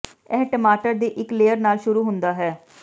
ਇਹ ਟਮਾਟਰ ਦੀ ਇੱਕ ਲੇਅਰ ਨਾਲ ਸ਼ੁਰੂ ਹੁੰਦਾ ਹੈ